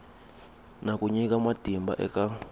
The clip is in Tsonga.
na ku nyika matimba eka